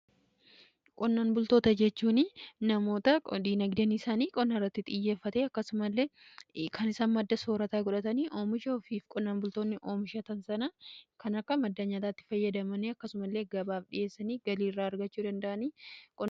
qonnan bultoota jechuun namoota dinagdeen isaanii qonnaarratti xiyyeeffate akkasumallee kan isaan madda soorataa godhatanidha. oomisha ofii qonnaan bultoonni oomishatan sana kan akka maddaa nyaataatti fayyadamani akkasuma illee gabaaf dhiyeessanii galii irraa argachuu danda'anidha.